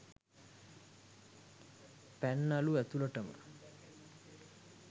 පැන්නලු ඇතුලටම